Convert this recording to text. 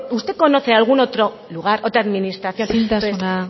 usted conoce algún otro lugar otra administración isiltasuna